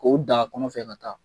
K'o dan a kun fɛ ka taa